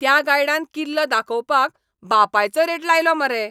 त्या गायडान किल्लो दाखोवपाक बापायचो रेट लायलो मरे.